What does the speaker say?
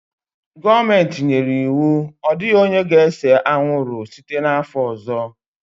Gọọmenti nyere iwu, Ọ dịghị onye ga-ese anwụrụ! site n'afọ ọzọ